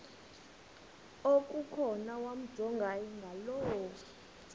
okukhona wamjongay ngaloo